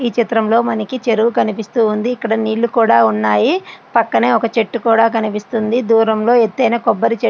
ఈ చిత్రంలో మనకి చెరువు కనిపిస్తుంది. నీళ్లు కూడా ఉన్నాయి. పక్కనే ఒక చెట్టు కూడా కనిపిస్తుంది. దూరంలో ఎత్తయిన కొబ్బరి చెట్టు--